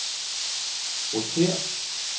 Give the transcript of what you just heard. rotér